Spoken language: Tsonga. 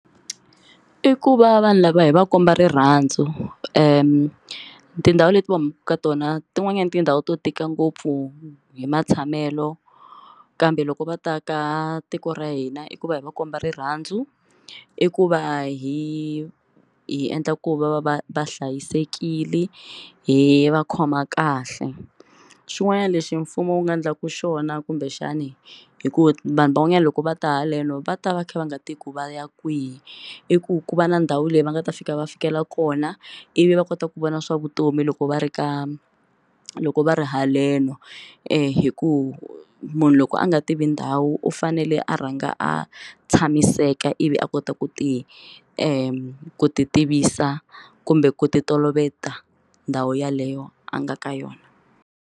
I ku va vanhu lava hi va komba rirhandzu tindhawu leti va humaka ka tona tin'wanyani tindhawu to tika ngopfu hi matshamelo kambe loko va ta ka tiko ra hina i ku va hi va komba rirhandzu i ku va hi hi endla ku va va va va hlayisekile hi va khoma kahle xin'wanyana lexi mfumo wu nga endlaka xona kumbexani hi ku vanhu van'wanyana loko va ta haleni va ta va kha va nga tivi ku vaya kwihi i ku ku va na ndhawu leyi va nga ta fika va fikela kona i vi va kota ku vona swa vutomi loko va ri ka loko va ri haleno hi ku munhu loko a nga tivi ndhawu u fanele a rhanga a tshamiseka i vi a kota ku ti ku ti tivisa kumbe ku ti toloveta ndhawu yaleyo a nga ka yona.